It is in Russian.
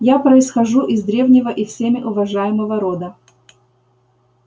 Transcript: я происхожу из древнего и всеми уважаемого рода